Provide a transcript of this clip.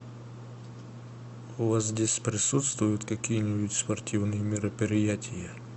у вас здесь присутствуют какие нибудь спортивные мероприятия